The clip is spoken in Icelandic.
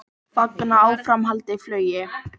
Fagna áframhaldandi flugi